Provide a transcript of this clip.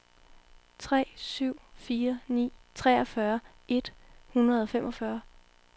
tre syv fire ni treogfyrre et hundrede og femogfyrre